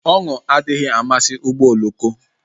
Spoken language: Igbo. Ọṅụ adịghị amasị ụgbọ oloko